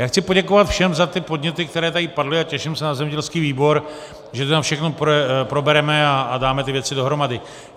Já chci poděkovat všem za ty podněty, které tady padly, a těším se na zemědělský výbor, že to tam všechno probereme a dáme ty věci dohromady.